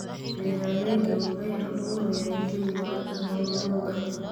Beeraleydu waxay abuurayaan jawi wanaagsan oo lo'da.